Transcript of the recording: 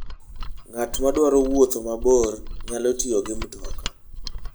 Ng'at madwaro wuotho mabor, nyalo tiyo gi mtoka.